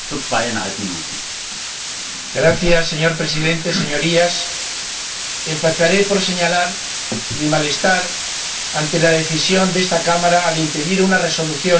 Señor Presidente, Señorías, empezaré por señalar mi malestar ante la decisión de esta Cámara al impedir una resolución sobre un asunto tan sensible.